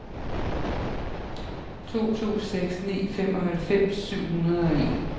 to to seks ni femoghalvfems syv hundrede og en